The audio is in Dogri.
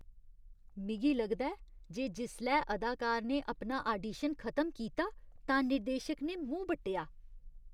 मिगी लगदा ऐ जे जिसलै अदाकार ने अपना आडिशन खतम कीता तां निर्देशक ने मूंह् बट्टेआ।